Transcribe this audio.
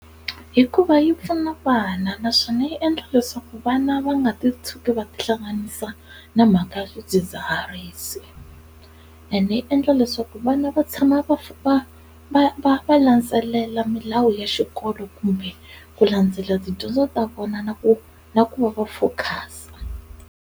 Hikuva yi pfuna vana naswona yi endla leswaku vana va nga ti tshuki va tihlanganisa na mhaka ya swidzidziharisi, ende yi endla leswaku ku vana va tshama va va va va va landzelela milawu ya xikolo kumbe ku landzela tidyondzo ta vona na ku na ku va va focus-a.